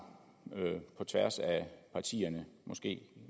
på tværs af partierne og måske